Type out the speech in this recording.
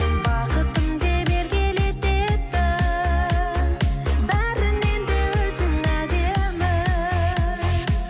бақытым деп еркелететін бәрінен де өзің әдемі